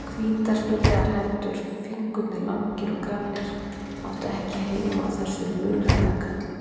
Hvítar fínlegar hendur, fingurnir langir og grannir, áttu ekki heima á þessum luralega karli.